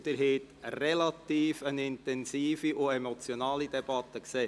Sie haben eine relativ intensive und emotionale Debatte erleben können.